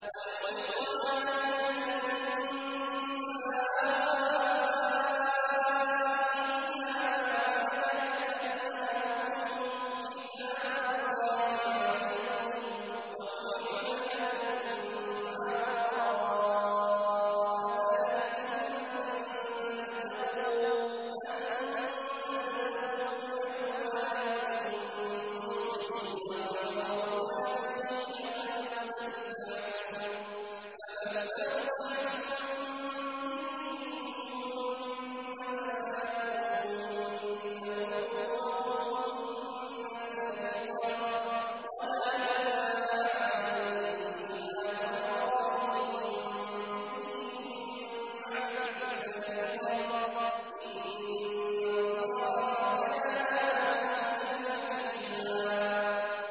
۞ وَالْمُحْصَنَاتُ مِنَ النِّسَاءِ إِلَّا مَا مَلَكَتْ أَيْمَانُكُمْ ۖ كِتَابَ اللَّهِ عَلَيْكُمْ ۚ وَأُحِلَّ لَكُم مَّا وَرَاءَ ذَٰلِكُمْ أَن تَبْتَغُوا بِأَمْوَالِكُم مُّحْصِنِينَ غَيْرَ مُسَافِحِينَ ۚ فَمَا اسْتَمْتَعْتُم بِهِ مِنْهُنَّ فَآتُوهُنَّ أُجُورَهُنَّ فَرِيضَةً ۚ وَلَا جُنَاحَ عَلَيْكُمْ فِيمَا تَرَاضَيْتُم بِهِ مِن بَعْدِ الْفَرِيضَةِ ۚ إِنَّ اللَّهَ كَانَ عَلِيمًا حَكِيمًا